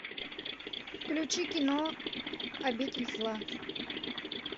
включи кино обитель зла